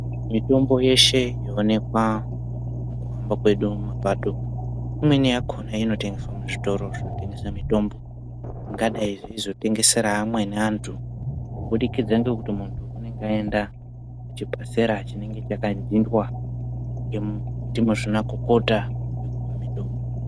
Mitombo yeshe yoonekwa mukuhamba kwedu mumapato imweni yakona inotengeswa muzvitoro zvitengeswa mitombo zvingadayi zveizotengesera amweni antu kubudikidza ngekuti muntu unonga aenda nechipasera chinonga chakadhindwa ndimuzvinakokota wekupa mitombo.